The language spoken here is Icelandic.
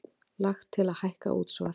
Lagt til að hækka útsvar